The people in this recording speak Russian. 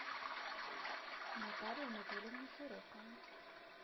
наталью анатольевну широкову